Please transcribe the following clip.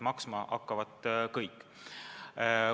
Maksma hakkavad kõik.